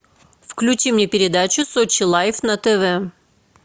включи мне передачу сочи лайф на тв